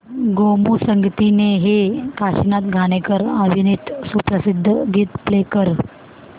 गोमू संगतीने हे काशीनाथ घाणेकर अभिनीत सुप्रसिद्ध गीत प्ले कर